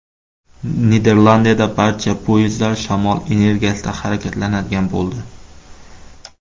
Niderlandiyada barcha poyezdlar shamol energiyasida harakatlanadigan bo‘ldi.